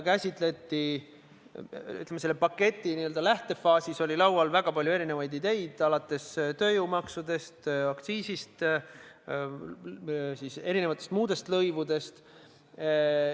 Selle paketi lähtefaasis oli laual väga palju erinevaid ideid, alates tööjõumaksudest, aktsiisidest, erinevatest lõivudest.